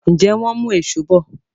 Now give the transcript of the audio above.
Njé wón mú Èṣó bọ?